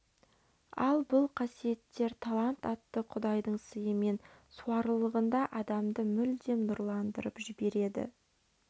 ал бұл қасиеттер талант атты құдайдың сыйымен суарылғанда адамды мүлдем нұрландырып жібереді